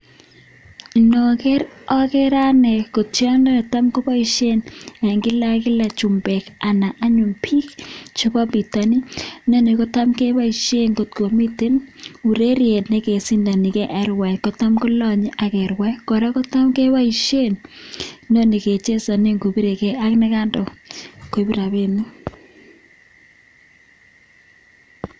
Ndoger agere ane kotiondo netam koboishen en kila ak kila anyun chumbek anan biik chebo bitonin. Inoni kotam keboishen ngotko miten ureryet nekesindoni en ng'waek kotam kolonye ak kerwai. Kora kotam keboishen inoni kechesonen kobirege ak ne kaindo koib rabinik.